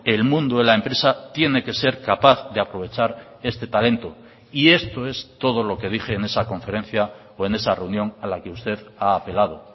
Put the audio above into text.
el mundo de la empresa tiene que ser capaz de aprovechar este talento y esto es todo lo que dije en esa conferencia o en esa reunión a la que usted ha apelado